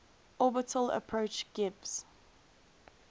orbital approach gives